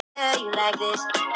Ölvaður á stolnum bíl